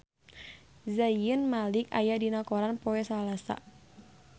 Zayn Malik aya dina koran poe Salasa